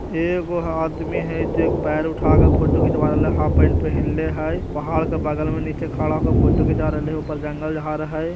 एगो आदमी हई जे पैर उठा के फोटो खिचवा राहिल हई हाफ पेंट पहिन (पहन) ले हई पहाड़ के बगल में नीचा खड़ा होके फोटो खिचवा राहिल हई उपर जंगल झाड़ हई ।